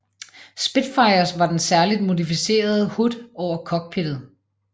Spitfires var den særligt modificerede hood over cockpittet